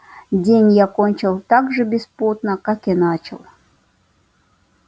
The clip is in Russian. день я кончил так же беспутно как и начал